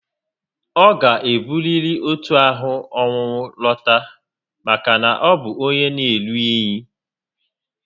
Ọ ga-eburiri otu ahụ ọnwụnwụ lọta maka na ọ bu onyé na-eru unyi